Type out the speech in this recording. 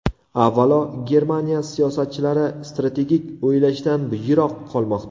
Avvalo, Germaniya siyosatchilari strategik o‘ylashdan yiroq qolmoqda.